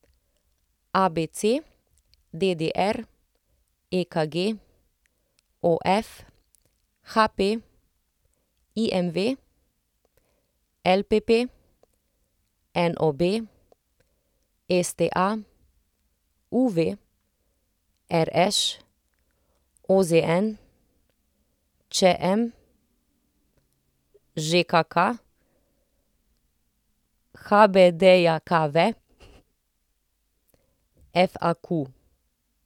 ABC, DDR, EKG, OF, HP, IMV, LPP, NOB, STA, UV, RŠ, OZN, ČM, ŽKK, HBDJKV, FAQ.